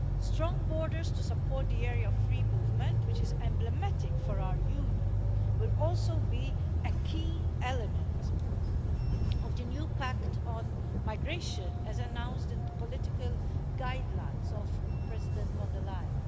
Strong borders to support the area of free movement, which is emblematic for our Union, will also be a key element of the new pact on migration, as announced in the political guidelines of President von der Leyen.